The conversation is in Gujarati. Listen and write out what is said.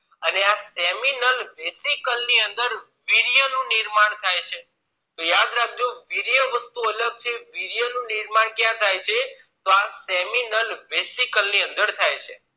અને આ seminal resical ની અંદર વીર્ય નું નિર્માણ થાય છે અને યાદ રાખજો વીર્ય વસ્તુ અલગ છે વીર્ય નું નિર્માણ ક્યાં થાય છે તો આ seminal resical ની અંદર થાય છે